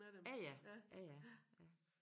Ja ja ja ja ja